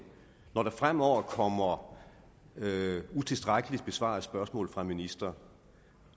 når der fremover kommer utilstrækkeligt besvarede spørgsmål fra ministre